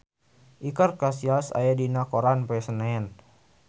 Iker Casillas aya dina koran poe Senen